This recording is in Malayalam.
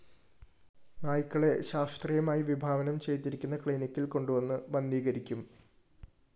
നായക്കളെ ശാസ്തീയമായി വിഭാവനം ചെയ്തിരിക്കുന്ന ക്ലീനിക്കില്‍ കൊണ്ട് വന്ന് വന്ധീകരിക്കും